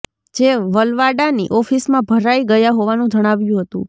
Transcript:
જે વલવાડાની ઓફીસમાં ભરાઈ ગયા હોવાનું જણાવ્યું હતું